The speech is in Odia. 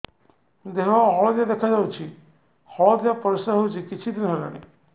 ଦେହ ହଳଦିଆ ଦେଖାଯାଉଛି ହଳଦିଆ ପରିଶ୍ରା ହେଉଛି କିଛିଦିନ ହେଲାଣି